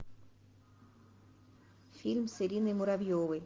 фильм с ириной муравьевой